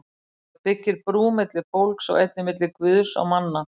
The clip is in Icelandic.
Það byggir brú milli fólks og einnig milli Guðs og manna.